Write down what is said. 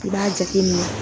I b'a jate minɛ